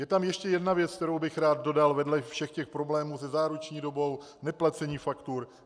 Je tam ještě jedna věc, kterou bych rád dodal vedle všech těch problémů se záruční dobou, neplacením faktur.